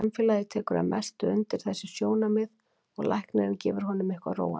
Samfélagið tekur að mestu undir þessi sjónarmið og læknirinn gefur honum eitthvað róandi.